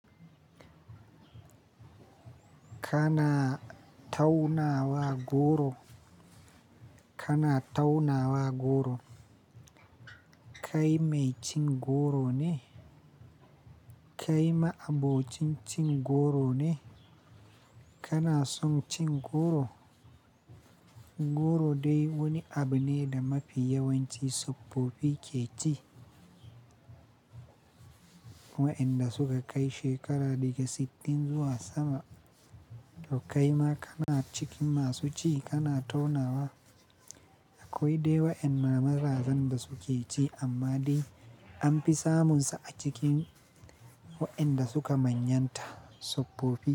Kana taunawa goro? Kana taunawa goro? Kai mai cin goro ne? Kai ma'abocin cin goro ne? Kana son cin goro? Goro dai wani abu ne da mafi yawanci soppopi ke ci. Wa'inda suka kai shekara daga sittin zuwa sama. To kaima kana cikin masu ci kana taunawa? Akwai dai wa'inda mazajen da suke ci amma dai an fi samunsa a cikin wa'inda suka manyanta tsobbofi.